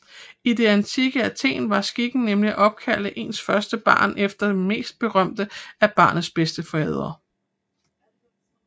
I det antikke Athen var skikken nemlig at opkalde ens første barn efter den mest berømte af barnets bedstefædre